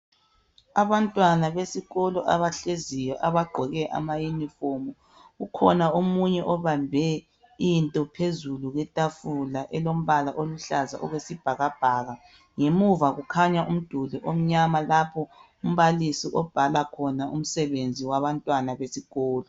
Abantwana besikolo abagqoke amayunifofumu alombala ofanayo ukhona obambe into ekhanda ,elombala wesibhakabhaka ,emuva kulomduli lapho umbalisi obhala khona umsebenzi wesikolo.